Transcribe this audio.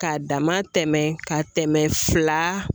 K'a dama tɛmɛ ka tɛmɛ fila